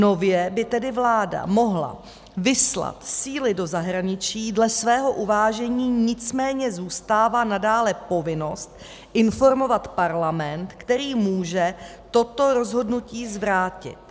Nově by tedy vláda mohla vyslat síly do zahraničí dle svého uvážení, nicméně zůstává nadále povinnost informovat Parlament, který může toto rozhodnutí zvrátit.